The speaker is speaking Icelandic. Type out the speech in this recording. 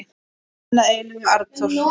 Þinn að eilífu, Arnþór.